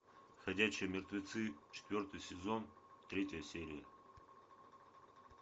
ходячие мертвецы четвертый сезон третья серия